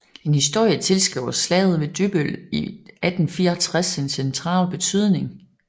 En historie tilskriver Slaget ved Dybbøl i 1864 en central betydning